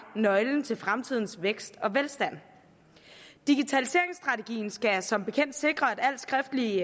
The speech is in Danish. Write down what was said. nøglen til fremtidens vækst og velstand digitaliseringsstrategien skal som bekendt sikre at alt skriftlig